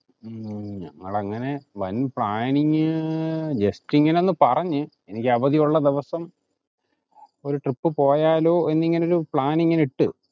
അതങ്ങനെ വൻ planningjust ഇങ്ങനെ ഒന്ന് പറഞ്ഞു. എനിക്ക് അവധി ഉള്ള ദിവസം ഒരു trip പോയാലോ എന്നിങ്ങനെ ഒരു plan ഇങ്ങിനെ ഇട്ടു